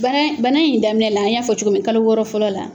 Bana banan in daminɛ la an y'a fɔ cogomi kalo wɔɔrɔ fɔlɔ la.